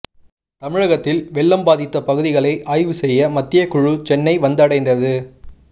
தமிழகத்தில் வெள்ளம் பாதித்த பகுதிகளை ஆய்வு செய்ய மத்திய குழு சென்னை வந்தடைந்தது